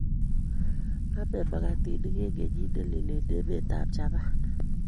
Ame magatinik eng kenyit nelel eng emetab Japan